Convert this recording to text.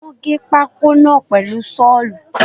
Wọ́n gé pákó náà pèlu Ṣọ́ọ̀lù